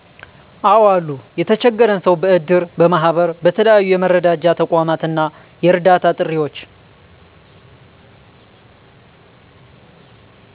አዎ አሉ የተቸገረን ሰዉ በእድር፣ በማህበር በተለያዩ የመረዳጃ ተቋማት እና የእርዳታ ጥሪዎች